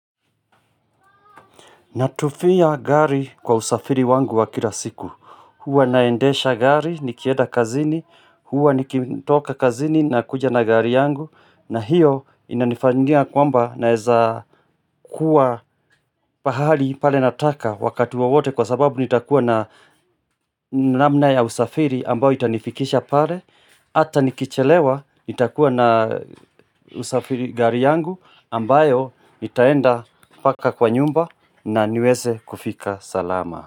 Natufia gari kwa usafiri wangu wa kila siku. Huwa naendesha gari, nikieda kazini, huwa nikitoka kazini na kuja na gari yangu na hiyo inanifangia kwamba naeza kuwa pahali pale nataka wakati wawote kwa sababu nitakuwa na namna ya usafiri ambao itanifikisha pale. Hata nikichelewa nitakuwa na usafiri gari yangu ambayo itaenda paka kwa nyumba na niweze kufika. Salama.